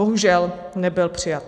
Bohužel, nebyl přijat.